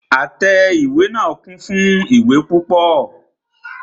Àtẹ ìwé náà kún fún ìwé púpọ.